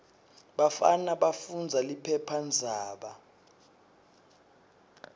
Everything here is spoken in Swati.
bafana bafundza liphephandzaba